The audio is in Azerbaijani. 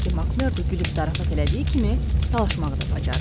Çünki MakMerdo gülüb zarafat elədiyi kimi, dalaşmağı da bacarırdı.